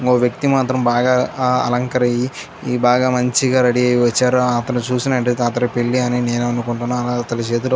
ఒక వ్యక్తి మాత్రం బాగా అలంకరి బాగా మంచిగా రెడీ అయ్యి వచ్చారు. అతన్ని చూస్తున్నట్టయితే అతడి పెళ్లి అని నేను అనుకుంటున్నాను. అతని చేతిలో --